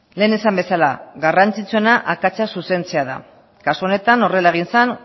lehen esan bezala garrantzitsuena akatsa zuzentzea da kasu honetan horrela egin zen